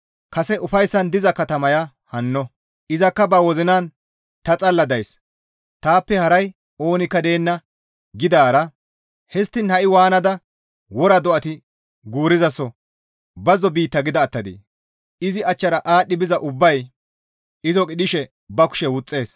Kase ufayssan diza katamaya hanno; izakka ba wozinan, «Ta xalla days; taappe haray oonikka deenna» gidaara histtiin ha7i waanada wora do7ati guurizaso bazzo biitta gida attadee? Izi achchara aadhdhi biza ubbay izo qidhishe ba kushe wuxxees.